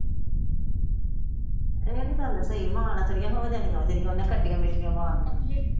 ਉਹ ਤਾਂ ਗੱਲ ਸਹੀ ਮਾਂ ਨਾਲ ਥੋੜਾ ਹੋ ਜਾਣੀਐ ਜਿਹੜੀਆਂ ਓਹਨੇ ਖੱਟੀਆਂ ਮਿੱਠੀਆਂ ਮਾਰਨੀਆਂ।